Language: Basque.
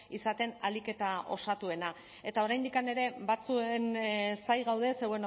izaten ahalik eta osatuena eta oraindik ere batzuen zain gaude ze